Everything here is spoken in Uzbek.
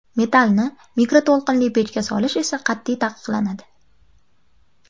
Metallni mikroto‘lqinli pechga solish esa qat’iy taqiqlanadi.